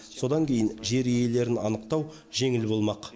содан кейін жер иелерін анықтау жеңіл болмақ